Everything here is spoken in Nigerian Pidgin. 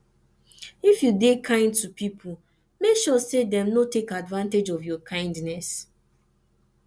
if you de kind to pipo make sure say dem no take advantage of your kindness